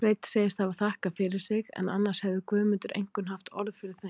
Sveinn segist hafa þakkað fyrir sig, en annars hefði Guðmundur einkum haft orð fyrir þeim.